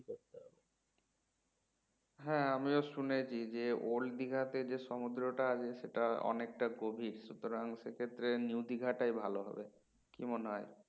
হ্যাঁ আমিও শুনেছি যে old দীঘা তে যে সমুদ্রটা আছে সেটা অনেকটা গভীর সুতরাং সেক্ষেত্রে new দীঘা টাই ভালো হবে কি মনে হয়?